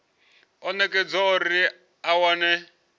o nekedzwaho uri a wane